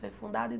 Foi fundado em